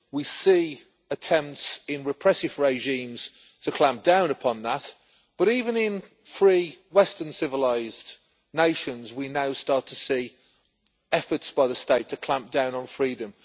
We see attempts in repressive regimes to clamp down upon that, but even in free western civilised nations we now start to see efforts by the state to clamp down on freedom.